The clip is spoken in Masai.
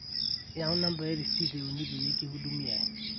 yaau nambai e risiit e uni peyie kihudumiaai